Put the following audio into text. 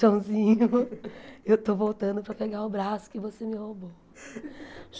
Joãozinho, eu estou voltando para pegar o braço que você me roubou.